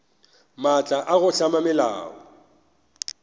maatla a go hlama melao